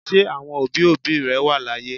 Ṣé àwọn òbí òbí rẹ wà láyé?